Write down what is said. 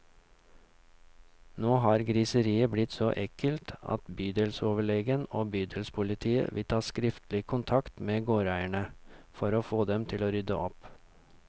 Nå har griseriet blitt så ekkelt at bydelsoverlegen og bydelspolitiet vil ta skriftlig kontakt med gårdeierne, for å få dem til å rydde opp.